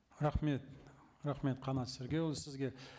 рахмет рахмет қанат сергейұлы сізге